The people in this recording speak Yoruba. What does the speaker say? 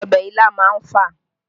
Ọbẹ̀ ilá má ń fà